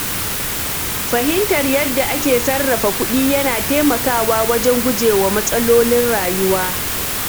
Fahimtar yadda ake sarrafa kuɗi yana taimakawa wajen gujewa matsalolin rayuwa.